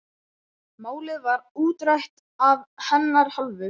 Málið var útrætt af hennar hálfu.